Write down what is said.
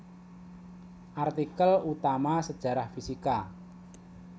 Artikel utama Sejarah fisika